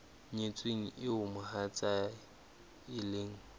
nyetsweng eo mohatsae e leng